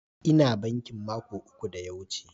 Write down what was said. Ina bankin mako uku da ya wuce.